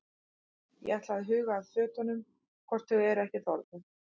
Ég ætla að huga að fötunum hvort þau eru ekki þornuð.